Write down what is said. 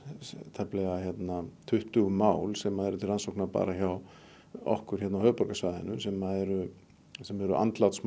tæplega tuttugu mál sem eru til rannsóknar bara hjá okkur hérna á höfuðborgarsvæðinu sem eru sem eru